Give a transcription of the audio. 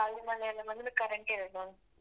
ಅದೆ ಗಾಳಿ ಮಳೆ ಎಲ್ಲ ಬಂದ್ರೆ current ಇರಲ್ಲ.